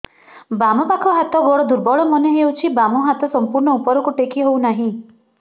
ବାମ ପାଖ ହାତ ଗୋଡ ଦୁର୍ବଳ ମନେ ହଉଛି ବାମ ହାତ ସମ୍ପୂର୍ଣ ଉପରକୁ ଟେକି ହଉ ନାହିଁ